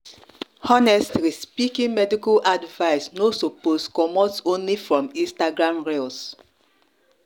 honestly speaking medical advice no suppose comot only from instagram reels